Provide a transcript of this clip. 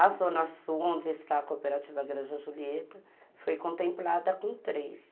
A zona sul, onde está a Cooperativa Granja Julieta, foi contemplada com três.